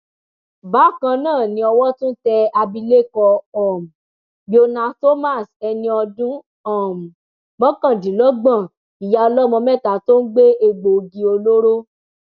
bákan náà ni owó tún tẹ abilékọ um biona thomas ẹni ọdún um mọkàndínlọgbọn ìyá ọlọmọ mẹta tó ń gbé egbòogi olóró